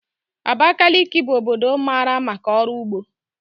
Abakaliki bụ obodo mara maka ọrụ ugbo